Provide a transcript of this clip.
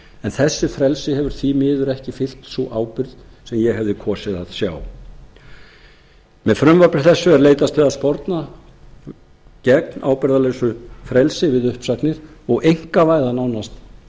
en þessu frelsi hefur því miður ekki fylgt sú ábyrgð sem ég hefði kosið að sjá með frumvarpi þessu er leitast við að sporna gegn ábyrgðarlausu frelsi við uppsagnir og einkavæða nánast